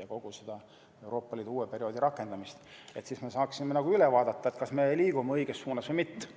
ja kogu seda Euroopa Liidu uue perioodi rakendamist –, siis me saaksime üle vaadata, kas me liigume õiges suunas või mitte.